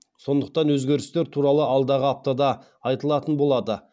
сондықтан өзгерістер туралы алдағы аптада айтылатын болады